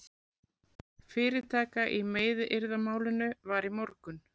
Fyrirtaka í meiðyrðamálinu var í morgun